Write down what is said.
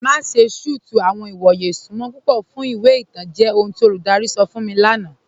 Má ṣè tí tú àwọn ìwọ̀yè ìṣúnmọ̀ púpọ̀ fún ìwé ìtàn jẹ́ ọhun tí olúdárí sọ̀ fún mi lána.